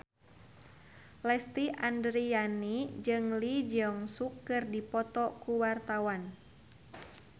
Lesti Andryani jeung Lee Jeong Suk keur dipoto ku wartawan